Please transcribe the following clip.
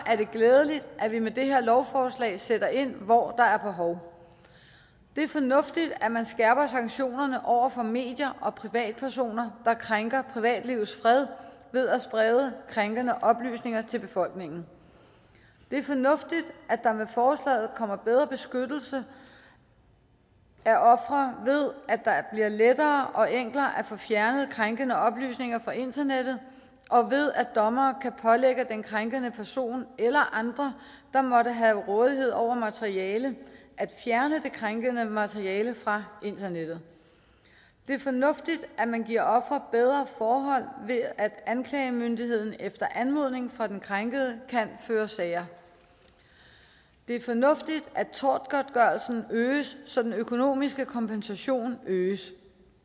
er det glædeligt at vi med det her lovforslag sætter ind hvor der er behov det er fornuftigt at man skærper sanktionerne over for medier og privatpersoner der krænker privatlivets fred ved at sprede krænkende oplysninger til befolkningen det er fornuftigt at der med forslaget kommer bedre beskyttelse af ofre ved at lettere og enklere at få fjernet krænkende oplysninger fra internettet og ved at dommere kan pålægge den krænkende person eller andre der måtte have rådighed over materiale at fjerne det krænkende materiale fra internettet det er fornuftigt at man giver ofre bedre forhold ved at anklagemyndigheden efter anmodning fra den krænkede kan føre sager det er fornuftigt at tortgodtgørelsen øges så den økonomiske kompensation øges